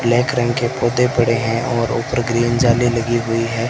Black रंग के पोते पड़े हैं और ऊपर ग्रीन जाली लगी हुई है।